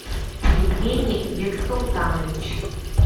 евгений бексултанович